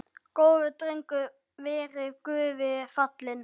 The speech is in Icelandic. Góður drengur verði Guði falinn.